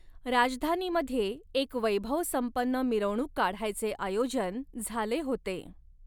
राजधानीमध्ये एक वैभवसंपन्न मिरवणूक काढायचे आयोजन झाले होते.